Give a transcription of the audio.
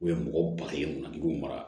U ye mɔgɔ ba ye kun mara